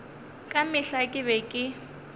ka mehla ke be ke